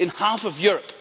in half of Europe.